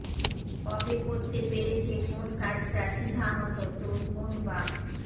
কবে করতে পেরেছে কোন কাজটা সিধামতো তোর কোন বাপ